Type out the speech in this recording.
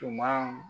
Tuma